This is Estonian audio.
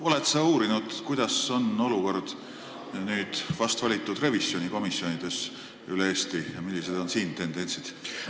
Oled sa uurinud, kuidas on olukord vast valitud revisjonikomisjonides üle Eesti ja millised on siin tendentsid?